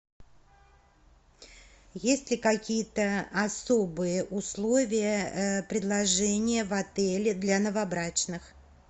есть ли какие то особые условия предложения в отеле для новобрачных